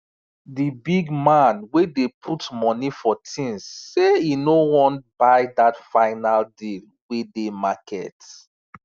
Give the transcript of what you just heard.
di big man wey dey put money for things say e no want buy dat fine deal wey dey market